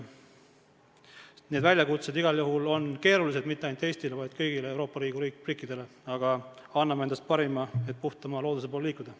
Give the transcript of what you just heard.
Need väljakutsed on igal juhul keerulised mitte ainult Eestile, vaid kõigile Euroopa Liidu riikidele, aga anname endast parima, et puhtama looduse poole liikuda.